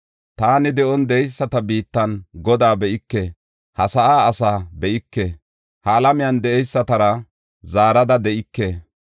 “Taani de7on de7eyisata biittan Godaa be7ike; ha sa7an ase be7ike; ha alamiyan de7eysatara zaarada de7ike.